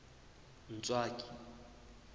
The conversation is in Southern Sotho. ntswaki